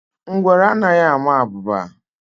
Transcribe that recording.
Ngwere anaghị ama abụba